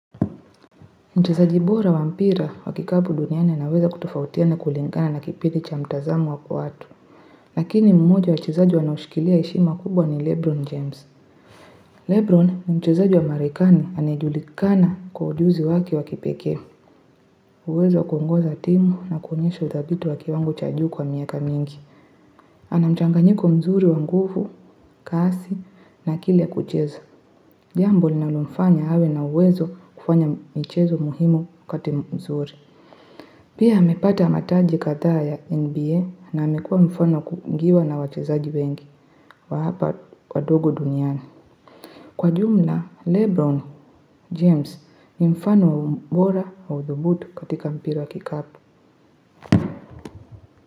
Mchezaji bora wa mpira wa kikabu duniani anaweza kutofautiana kulingana na kipindi cha mtazamo wa kuatu. Lakini mmoja wachezaji wanaoshikilia heshima kubwa ni Lebron James. Lebron, ni mchezaji wa marekani, anayejulikana kwa ujuzi wake wa kipekee. Uwezo wa kuongoza timu na kuonyesho uthabiti wa kiwango cha juu kwa miaka mingi. Ana mchanganyiko mzuri wa nguvu, kasi na akili ya kucheza. Jambo linalomfanya awe na uwezo kufanya mchezo muhimu wakati mzuri. Pia amepata mataji kadhaa ya NBA na amekuwa mfano wa kuigiwa na wachezaji wengi wa hapa wadogo duniani. Kwa jumla, Lebron James ni mfano mbora wa udhubutu katika mpira wa kikapu.